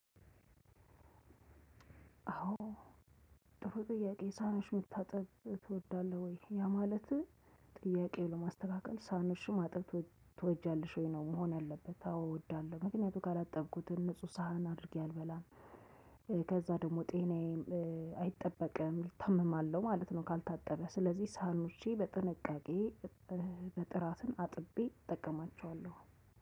አዎ ጥሩ ጥያቄ ሳህንሽን መታጠብ ትወዳለህ ወይ? ያ ማለትህ ጥያቄው ለማስተካከል ሳህንሽን ማጠብ ትወጃለሽ ወይ? ነው መሆን ያለበት አዎ እወዳለሁ። ምክንያቱም ካላጠብኩትን ንጹህ ሳህን አድርጌ አልበላም። ከዛ ደግሞ ጤናዬም አይጠበቅም። እታመማለሁ ማለት ነው ካልታጠበ ስለዚህ ሳህኖቸ በጥንቃቄ በጥራትን አጥቤ እጠቀማቸዋለሁ።